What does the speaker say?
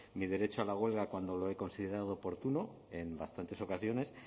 mi derecho a la huelga cuando lo he considerado oportuno en bastantes ocasiones